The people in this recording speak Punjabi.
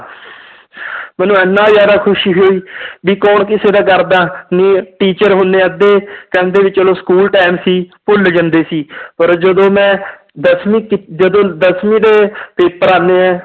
ਮੈਨੂੰ ਇੰਨਾ ਜ਼ਿਆਦਾ ਖ਼ੁਸ਼ੀ ਹੋਈ ਵੀ ਕੌਣ ਕਿਸੇ ਦਾ ਕਰਦਾ ਨੀ teacher ਹੁਣ ਅੱਧੇ ਕਹਿੰਦੇ ਵੀ ਚਲੋ school time ਸੀ, ਭੁੱਲ ਜਾਂਦੇ ਸੀ ਪਰ ਜਦੋਂ ਮੈਂ ਦਸਵੀਂ ਕੀ ਜਦੋਂ ਦਸਵੀਂ ਦੇ paper ਆਉਂਦੇ ਹੈ,